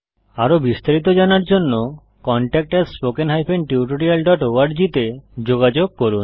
আরো বিস্তারিত জানার জন্য contactspoken tutorialorg তে যোগযোগ করুন